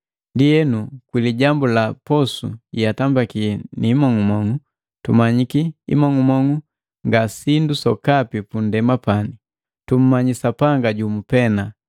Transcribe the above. Ndienu kwi lijambu la posu yeatambiki ni imong'umong'u, tumanyi imong'umong'u nga sindu sokapi pundema pani, tumanyi Sapanga jumu pena.